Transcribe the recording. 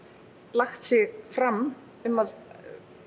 lagt sig fram um að